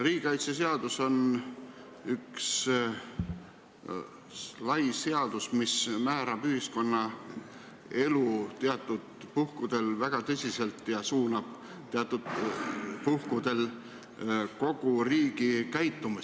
Riigikaitseseadus on üks lai seadus, mis teatud puhkudel määrab ühiskonnaelu väga tõsiselt ja suunab kogu riigi käitumist.